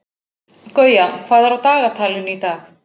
Gauja, hvað er á dagatalinu í dag?